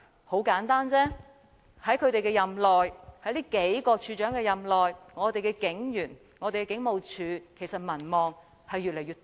很簡單，在這數位處長任內，警員和警務處的民望其實越來越低。